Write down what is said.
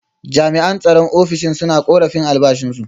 Jami’an tsaron ofishin suna korafin albashinsu.